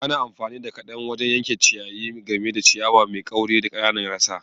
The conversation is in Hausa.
Ana amfani da kadan wajen yanke ciyayi, gami da ciyawa mai kauri da ƙananan rassa.